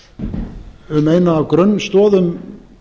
um eina af grunnstoðum